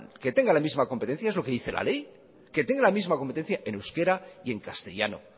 que tengan la misma competencia es lo que dice la ley que tenga la misma competencia en euskera y en castellano